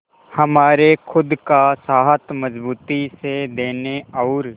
हमारे खुद का साथ मजबूती से देने और